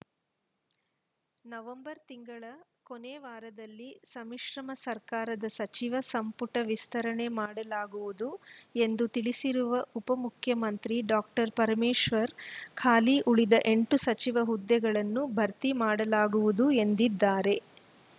November ತಿಂಗಳ ಕೊನೆವಾರದಲ್ಲಿ ಸಮ್ಮಿಶ್ರಮ ಸರ್ಕಾರದ ಸಚಿವ ಸಂಪುಟ ವಿಸ್ತರಣೆ ಮಾಡಲಾಗುವುದು ಎಂದು ತಿಳಿಸಿರುವ ಉಪಮುಖ್ಯಮಂತ್ರಿ ಡಾಕ್ಟರ್ ಪರಮೇಶ್ವರ್‌ ಖಾಲಿ ಉಳಿದ ಎಂಟು ಸಚಿವ ಹುದ್ದೆಗಳನ್ನು ಭರ್ತಿ ಮಾಡಲಾಗುವುದು ಎಂದಿದ್ದಾರೆ